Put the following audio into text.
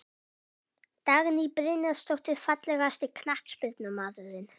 Dagný Brynjarsdóttir Fallegasti knattspyrnumaðurinn?